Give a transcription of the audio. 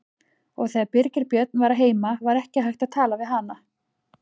Og þegar Birgir Björn var heima var ekki hægt að tala við hana.